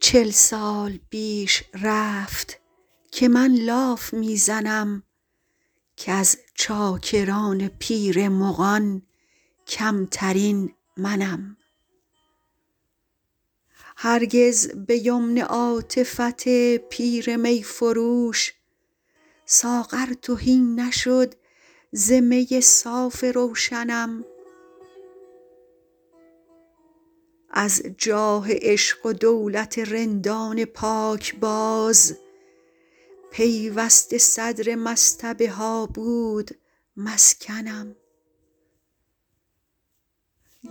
چل سال بیش رفت که من لاف می زنم کز چاکران پیر مغان کمترین منم هرگز به یمن عاطفت پیر می فروش ساغر تهی نشد ز می صاف روشنم از جاه عشق و دولت رندان پاکباز پیوسته صدر مصطبه ها بود مسکنم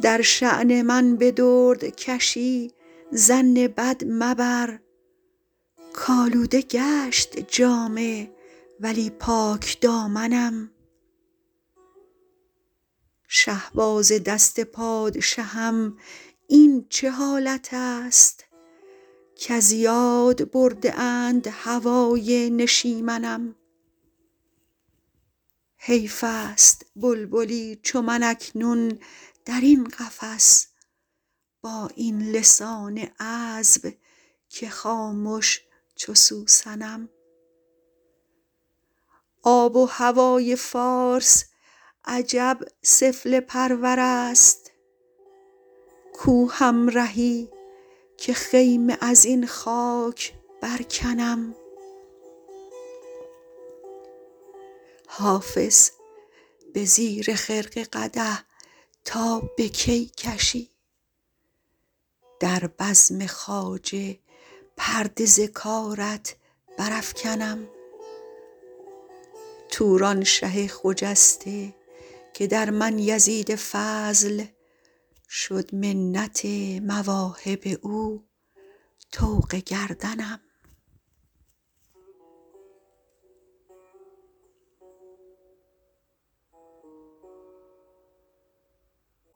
در شان من به دردکشی ظن بد مبر کآلوده گشت جامه ولی پاکدامنم شهباز دست پادشهم این چه حالت است کز یاد برده اند هوای نشیمنم حیف است بلبلی چو من اکنون در این قفس با این لسان عذب که خامش چو سوسنم آب و هوای فارس عجب سفله پرور است کو همرهی که خیمه از این خاک برکنم حافظ به زیر خرقه قدح تا به کی کشی در بزم خواجه پرده ز کارت برافکنم تورانشه خجسته که در من یزید فضل شد منت مواهب او طوق گردنم